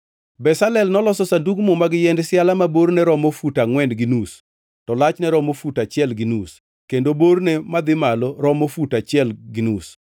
Bezalel noloso Sandug Muma gi yiend siala ma borne romo fut angʼwen gi nus to lachne romo fut achiel gi nus kendo borne madhi malo romo fut achiel gi nus.